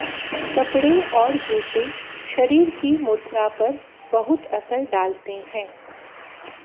कपडे़ और जूते शरीर की मुद्रा पर बहुत असर डालते हैं